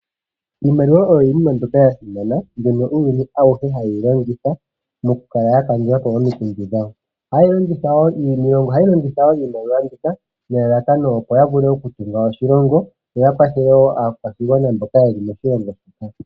Iimaliwa iinima ndyono yasimana hayi longithwa kuuyuni awuhe mokukala yakandulapo omikundu dhawo. Ohayeyi longitha wo nelalakano opo yavule okutunga oshilongo yo yakwathele wo aakwashigwana mboka yeli moshilongo taya hepa.